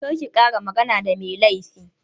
Kar ki ƙara magana da mai laifin!